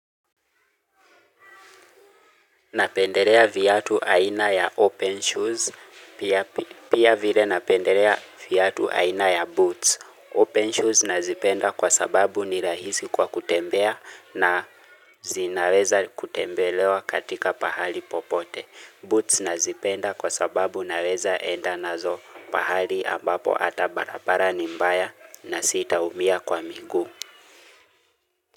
Napendelea viatu aina ya open shoes. Pia vile napendelea viatu aina ya boots. Open shoes nazipenda kwa sababu ni rahisi kwa kutembea na zinaweza kutembelewa katika pahali popote. Boots nazipenda kwa sababu naweza enda nazo pahali ambapo ata barabara nimbaya na sita umia kwa miguu.